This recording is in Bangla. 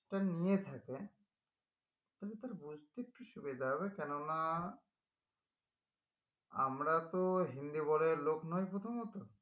শিক্ষা নিয়ে থাকে তালে তার বুঝতে একটু সুবিধা হবে কেন না আমরা তো লোক নোই প্রথমত